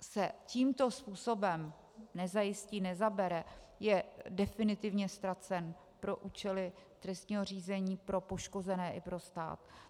se tímto způsobem nezajistí, nezabere, je definitivně ztracen pro účely trestního řízení, pro poškozené i pro stát.